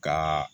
Ka